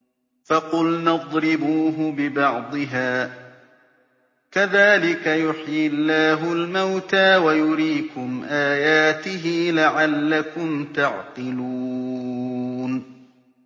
فَقُلْنَا اضْرِبُوهُ بِبَعْضِهَا ۚ كَذَٰلِكَ يُحْيِي اللَّهُ الْمَوْتَىٰ وَيُرِيكُمْ آيَاتِهِ لَعَلَّكُمْ تَعْقِلُونَ